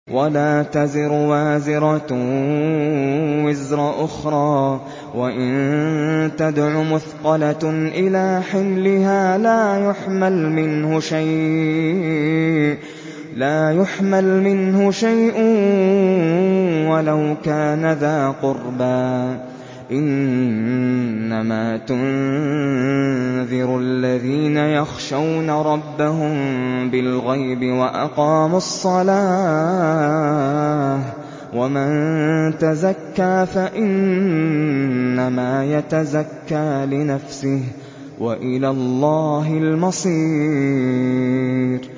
وَلَا تَزِرُ وَازِرَةٌ وِزْرَ أُخْرَىٰ ۚ وَإِن تَدْعُ مُثْقَلَةٌ إِلَىٰ حِمْلِهَا لَا يُحْمَلْ مِنْهُ شَيْءٌ وَلَوْ كَانَ ذَا قُرْبَىٰ ۗ إِنَّمَا تُنذِرُ الَّذِينَ يَخْشَوْنَ رَبَّهُم بِالْغَيْبِ وَأَقَامُوا الصَّلَاةَ ۚ وَمَن تَزَكَّىٰ فَإِنَّمَا يَتَزَكَّىٰ لِنَفْسِهِ ۚ وَإِلَى اللَّهِ الْمَصِيرُ